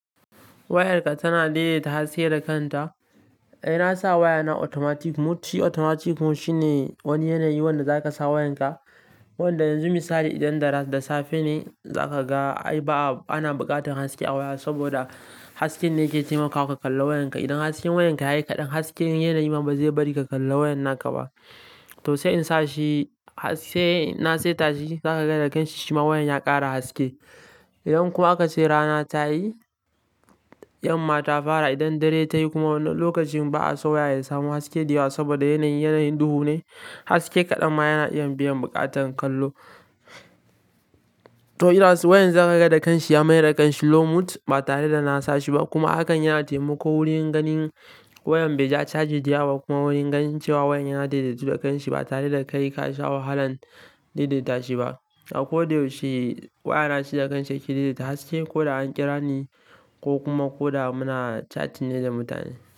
Wayarka tana daidaita haske da kanta. Eh, na sa wayana automatic mode shi Automatic mode shine wani yanayi wanda zaka sa wayanka, wanda yanzu misali idan da safe ne za ka ga ai ba a, ana buƙatar haske a waya saboda haske ne ke taimakawa ka kalla wayanka. Idan hasken wayanka ya yi kaɗan, hasken yanayi ma ba zai bari ka kalla wayan naka ba. To sai in sa shi har sai na saita shi, zaka ga da kanshi shi ma wayan ya ƙara haske. Idan kuma aka ce rana ta yi, yanma ta fara idan dare ta yi kuma wannan lokacin ba a so waya ya samu haske da yawa saboda yanayi, yanayi duhu ne, haske kaɗan ma yana iya biyan buƙatar kallo. To idan wayan zaka ga da kanshi ya mai da kanshi low mode ba tare da na sa shi ba kuma hakan yana taimako wurin ganin wayan bai ja caji da yawa ba kuma wurin ganin cewa wayan ya daidaitu da kanshi ba tare da kai ka sha wahalan daidaita shi ba. Ako da yaushe wayana shi da kan shi yake daidaita haske ko da an kira ni ko kuma ko da muna chatting ne da mutane.